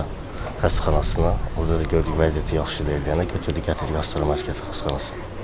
Astara xəstəxanasına, orada gördük vəziyyəti yaxşı deyil, gedib götürdük, gətirdik Astara Mərkəzi xəstəxanasına.